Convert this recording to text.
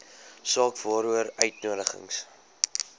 saak waaroor uitnodigings